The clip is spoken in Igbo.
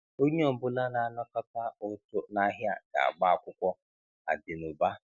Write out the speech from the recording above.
Onye ọ bụla na-anakọta ụtụ nahịa ga-agba akwụkwọ-Adinuba